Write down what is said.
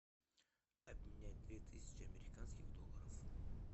обменять две тысячи американских долларов